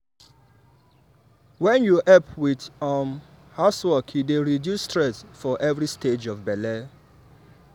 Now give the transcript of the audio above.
wen you help with um housework e dey reduce stress for every stage of belle.